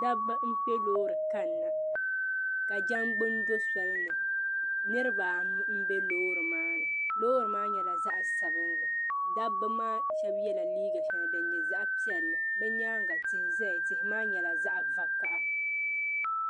Dabba n kpe lɔɔri n kanna, ka jangbuni do soli ni niribi anu n be lɔɔri maani, lɔɔri maa nyala zaɣi sabinli, dabi maa shabi yela liiga sheli din nyɛ zaɣi piɛli bɛ nyaaŋa. tihi zaya tihi maa nyala zaɣi vakaha,